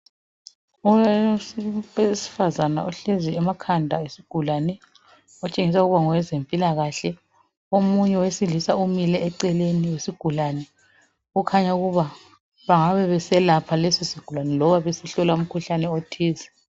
Owesifazana ohlezi emakhanda esigulane otshengisa ukuba ngowezempilakahle omunye wesilisa umile eceleni kwesigulane okhanya ukuba bengabe beselapha lesi sigulani loba besihlola umkhuhlane othize.